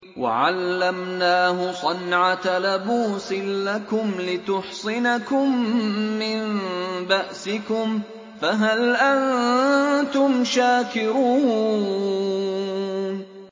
وَعَلَّمْنَاهُ صَنْعَةَ لَبُوسٍ لَّكُمْ لِتُحْصِنَكُم مِّن بَأْسِكُمْ ۖ فَهَلْ أَنتُمْ شَاكِرُونَ